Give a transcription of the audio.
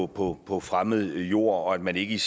på på fremmed jord og at man ikke